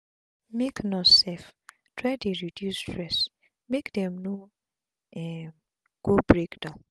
make nurse sef try dey reduce stress make dem no um go break down